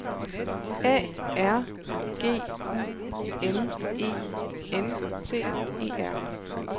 A R G U M E N T E R